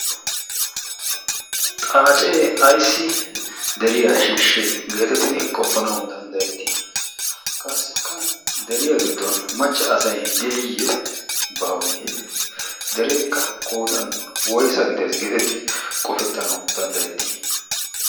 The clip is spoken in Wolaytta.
xaacee aissi deriyaa shiishshees geetettidi qoppanau danddayettii? qassikka deriyaa giddon machcha asai de7iyye baawee? dereekka koodan woisa gidees geetettii qofettanau danddayettii?